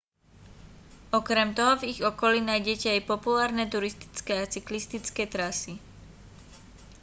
okrem toho v ich okolí nájdete aj populárne turistické a cyklistické trasy